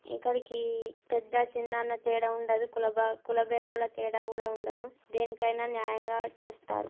ఇక్కడికి పెద్ద చిన్న అనే తేడా ఉండదు కుల భాగ-కుల భేదాల తేడా కూడా ఉండదు దేనికైనా న్యాయంగా చేస్తారు.